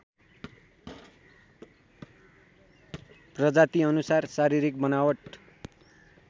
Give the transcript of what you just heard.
प्रजातीअनुसार शारीरिक बनावट